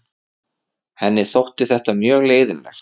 Henni þótti þetta mjög leiðinlegt.